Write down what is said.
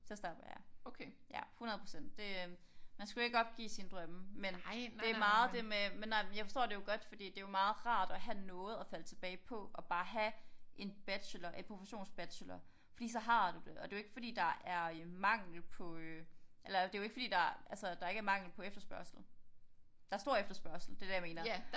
Så stopper jeg ja 100% det øh man skal jo ikke opgive sine drømme men det meget det med men nej jeg forstår det jo godt fordi det jo meget rart at have noget at falde tilbage på og bare have en bachelor et professionsbachelor fordi så har du det og det jo ikke fordi der er øh mangel på øh eller det jo ikke fordi der altså der ikke er mangel på efterspørgsel der er stor efterspørgsel det er det jeg mener